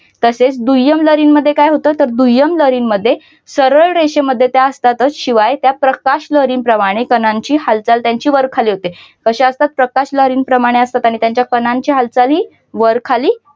तसेच दुय्यम लहरी मध्ये काय होतं तर दुय्यम वरील मध्ये रेषांमध्ये त्या असतातच शिवाय प्रकाश लहरी प्रमाणे कणांची हालचाल त्यांची वर-खाली होते कशा असतात प्रकाशलहरी प्रमाणे असतात आणि त्या तुमच्या आई चालली वर खाली